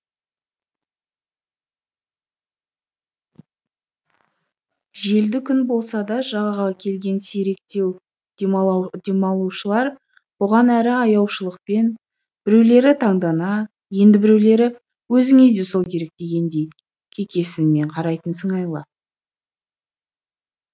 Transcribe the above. желді күн болса да жағаға келген сиректеу демалушылар бұған әрі аяушылықпен біреулері таңдана енді біреулері өзіңе де сол керек дегендей кекесінмен қарайтын сыңайлы